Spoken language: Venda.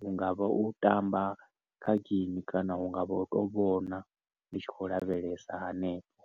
Hungavha u tamba kha game kana hungavha u to vhona, ndi tshi khou lavhelesa hanefho.